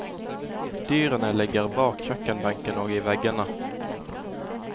Dyrene ligger bak kjøkkenbenken og i veggene.